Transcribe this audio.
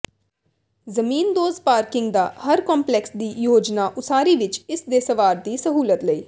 ਜ਼ਮੀਨਦੋਜ਼ parking ਦਾ ਹਰ complex ਦੀ ਯੋਜਨਾ ਉਸਾਰੀ ਵਿਚ ਇਸ ਦੇ ਸਵਾਰ ਦੀ ਸਹੂਲਤ ਲਈ